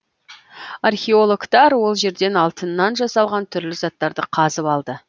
археологтар ол жерден алтыннан жасалған түрлі заттарды қазып алды